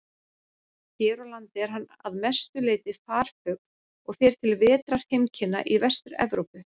Hér á landi er hann að mestu leyti farfugl og fer til vetrarheimkynna í Vestur-Evrópu.